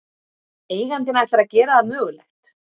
Eigandinn ætlar að gera það mögulegt